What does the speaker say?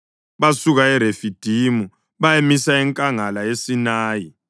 Basuka eRefidimu bayamisa enkangala yeSinayi.